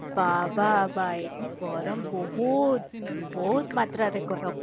ଏ ବାବା ଭାଇ ଗରମ ବହୁତ ବହୁତ ମାତ୍ରାରେ ଗରମ